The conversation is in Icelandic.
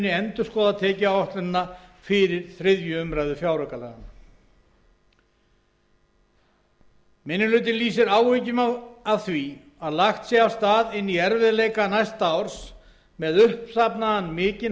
endurskoða tekjuáætlunina fyrir þriðju umræðu fjáraukalaganna minnihlutinn lýsir áhyggjum af því að lagt sé af stað inn í erfiðleika næsta árs með uppsafnaðan mikinn